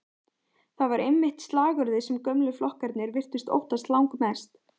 Það var einmitt slagorðið sem gömlu flokkarnir virtust óttast langmest.